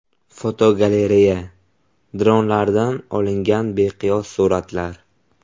Fotogalereya: Dronlarda olingan beqiyos suratlar.